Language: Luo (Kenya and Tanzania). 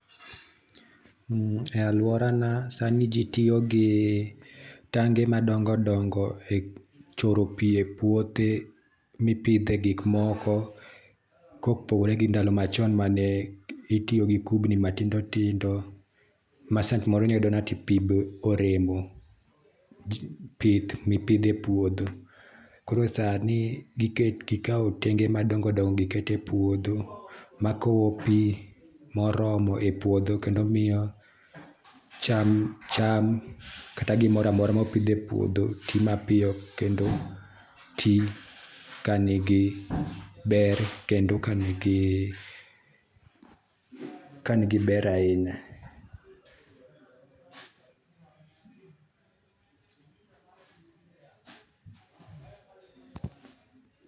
E aluora na sani jii tiyo gi tange madongo dongo e choro pii e puothe mipidhe gik moko kopogore gi ndalo machon mane itiyo gi kupni matindo tindo ma saa moro iyudo ka pii oremo pith mipidho e puodho. Koro sani gikaw tenge madongo dongo gikete puodho makowo pii moromo e puodho kendo miyo cham kata gimoro amora mopidh e puodho tii mapiyo kendo tii kanigi ber kendo kanigi ,kanigi ber ahinya